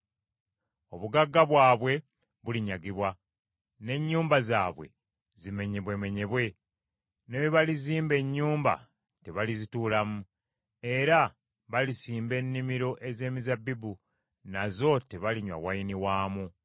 Obugagga bwabwe bulinyagibwa, n’ennyumba zaabwe zimenyebwemenyebwe. Ne bwe balizimba ennyumba tebalizituulamu, era balisimba ennimiro ez’emizabbibu nazo tebalinywa wayini wamu.